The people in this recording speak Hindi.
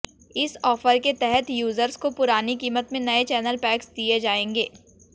इस ऑफर के तहत यूजर्स को पुरानी कीमत में नए चैनल पैक्स दिए जाएंगे